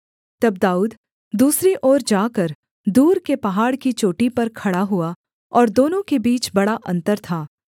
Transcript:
तब दाऊद दूसरी ओर जाकर दूर के पहाड़ की चोटी पर खड़ा हुआ और दोनों के बीच बड़ा अन्तर था